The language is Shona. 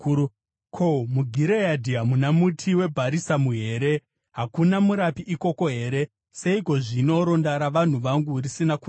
Ko, muGireadhi hamuna muti webharisamu here? Hakuna murapi ikoko here? Seiko zvino ronda ravanhu vangu risina kurapwa?